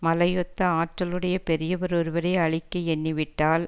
மலை ஒத்த ஆற்றல் உடைய பெரியவர் ஒருவரை அழிக்க எண்ணிவிட்டால்